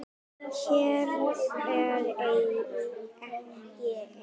Hér er ég ein.